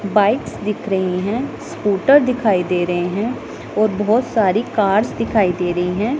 Bikes दिख रही हैं स्कूटर दिखाई दे रहे हैं और बहोत सारी कार्स दिखाई दे रही हैं।